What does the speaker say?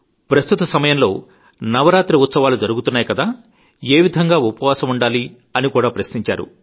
ప్రస్తుత సమయంలో నవరాత్రి ఉత్సవాలు జరుగుతున్నాయి కదా ఏవిధంగా ఉపవాసముంటున్నారని అని కూడా ప్రశ్నించారు